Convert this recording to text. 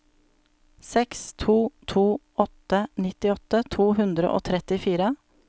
seks to to åtte nittiåtte to hundre og trettifire